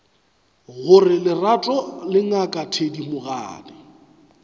gore lerato le ngaka thedimogane